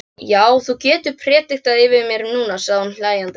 Já, þú getur prédikað yfir mér núna, sagði hún hlæjandi.